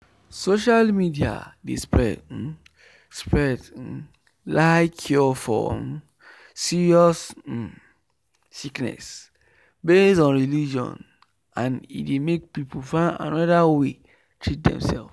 social media dey spread um spread um lie cure for um serious um sickness based on religion and e dey make people find another way treat demself.